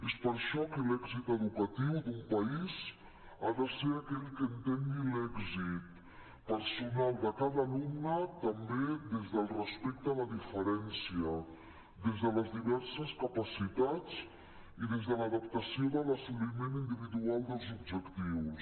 és per això que l’èxit educatiu d’un país ha de ser aquell que entengui l’èxit personal de cada alumne també des del respecte a la diferència des de les diverses capacitats i des de l’adaptació de l’assoliment individual dels objectius